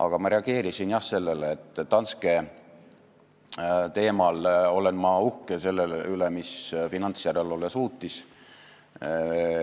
Aga ma reageerisin jah sellele, et Danske teemal olen ma uhke selle üle, mida finantsjärelevalve suutis.